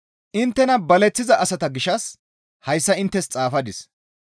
Inttena baleththiza asata gishshas hayssa inttes xaafadis.